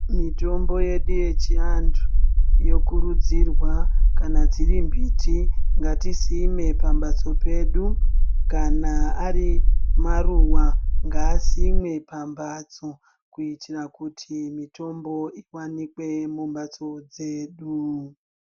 Mitombo yedu yechiantu yokurudzirwa kana dziri mbiti ngatisime pambatso dzedu kana Ari maruwa ngasime pambatso kuitira kuti mitombo iwanikwe pambatso dzedu.